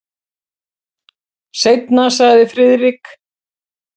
Seinna sagði Friðrik.